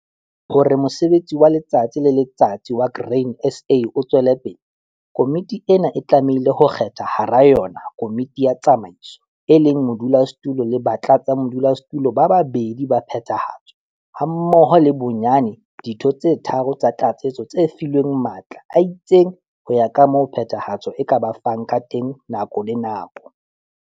Hore mosebetsi wa letsatsi le letsatsi wa Grain SA o tswele pele, Komiti ena e tlamehile ho kgetha hara yona Komiti ya Tsamaiso, e leng modulasetulo le batlatsamodulasetulo ba babedi ba Phethahatso hammoho le bonyane ditho tse tharo, 3, tsa tlatsetso tse filweng matla a itseng ho ya ka moo Phethahatso e ka ba fang ka teng nako le nako.